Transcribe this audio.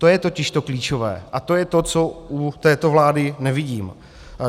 To je totiž to klíčové a to je to, co u této vlády nevidím.